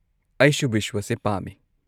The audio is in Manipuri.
ꯑꯩꯁꯨ ꯕꯤꯁ꯭ꯋꯥꯁꯦ ꯄꯥꯝꯃꯦ꯫